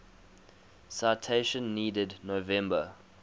citation needed november